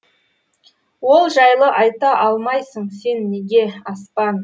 ол жайлы айта алмайсың сен неге аспан